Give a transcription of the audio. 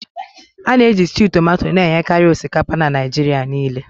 A na-eji stew tomato na-enyekarị osikapa na Naịjirịa niile.